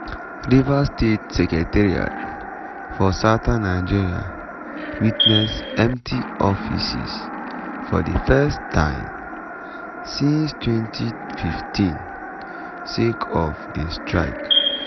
rivers state secretariat for southern nigeria witness empty offices for di first time time since 2015 sake of di strike.